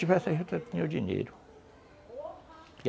Tivesse a juta, eu tinha o dinheiro.